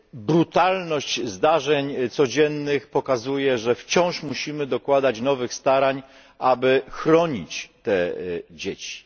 Brutalność zdarzeń codziennych pokazuje, że wciąż musimy dokładać nowych starań, aby chronić te dzieci.